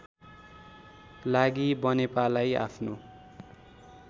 लागि बनेपालाई आफ्नो